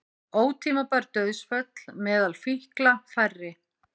Ótímabær dauðsföll meðal fíkla færri